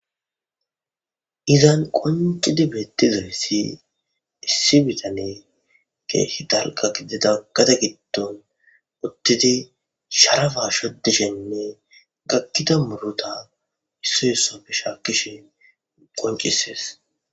Izan qoncidi bettizayssi issi bitane keehi talqa gidedagada giddon uttidi sharafa shodishenne gakkida murota issiyessofe shaakkishe qoncisees